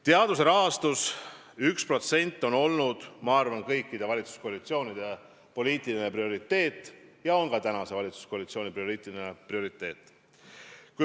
Teaduse rahastuse näitaja 1% on olnud, ma arvan, kõikide valitsuskoalitsioonide poliitiline prioriteet ja on ka preguse koalitsiooni poliitiline prioriteet.